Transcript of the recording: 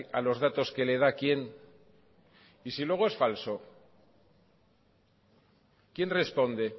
a los datos que le da quién y si luego es falso quién responde